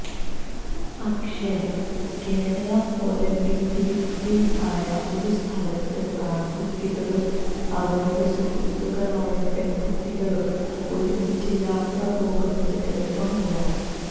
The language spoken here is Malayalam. പക്ഷെ കേരളം പോലെ പിന്തിരിപ്പന് ആയ ഒരു സ്ഥലത്ത് ആണ്കുട്ടികളും അവരുടെ സുഹൃത്തുക്കളായ പെണ്കുട്ടികളും ഒരുമിച്ച് യാത്ര പോകുന്നത് എളുപ്പമല്ല